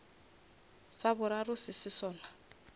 sa boraro se se sona